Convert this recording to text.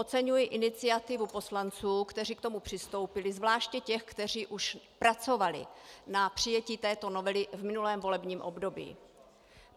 Oceňuji iniciativu poslanců, kteří k tomu přistoupili, zvláště těch, kteří už pracovali na přijetí této novely v minulém volebním období.